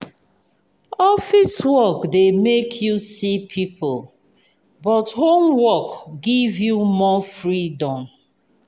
office work dey make you see people but home work give you more freedom.